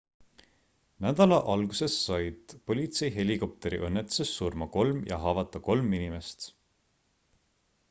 nädala alguses said politseihelikopteri õnnetuses surma kolm ja haavata kolm inimest